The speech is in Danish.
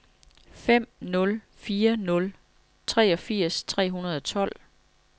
fem nul fire nul treogfirs tre hundrede og tolv